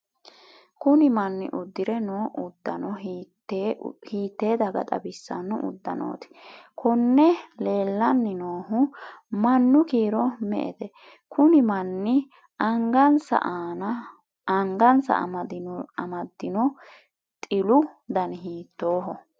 kuni manni uddire noo uddano hiittee daga xawissanno uddanooti? konne leellanni noohu mannu kiiro me''ete? kuni manni angansa an]madino tilu dani hiittooho?